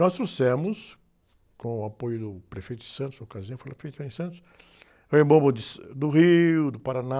Nós trouxemos, com o apoio do prefeito Santos, na ocasião. Foi lá feito em Santos, Rei Momos de, do Rio, do Paraná,